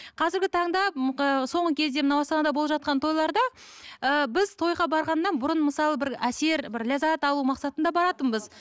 қазіргі таңда соңғы кезде мынау астанада болып жатқан тойларда ыыы біз тойға барғаннан бұрын мысалы бір әсер бір ләззат алу мақсатында баратынбыз